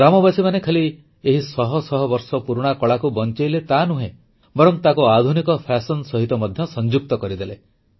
ଗ୍ରାମବାସୀମାନେ ଖାଲି ଏହି ଶହ ଶହ ବର୍ଷ ପୁରୁଣା କଳାକୁ ବଂଚେଇଲେ ତାନୁହେଁ ବରଂ ତାକୁ ଆଧୁନିକ ଫାସନ ସହିତ ମଧ୍ୟ ସଂଯୁକ୍ତ କରିଦେଲେ